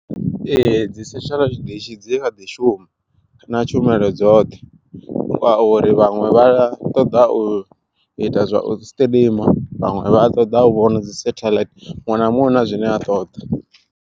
Ee dzi setheḽaithi dishi dzi kha ḓi shuma na tshumelo dzoṱhe, nga uri vhaṅwe vha a ṱoḓa u ita zwa u siṱirima, vhaṅwe vha ṱoḓa u vhona dzi setheḽaithi muṅwe na muṅwe una zwine a ṱoḓa.